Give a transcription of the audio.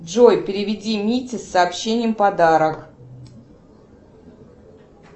джой переведи мите с сообщением подарок